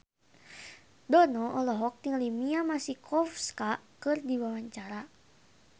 Dono olohok ningali Mia Masikowska keur diwawancara